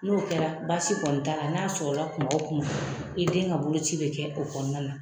N'o kɛra baasi kɔni t'a l'a n'a sɔrɔla kun o kun i den ka boloci bɛ kɛ o kɔnɔna na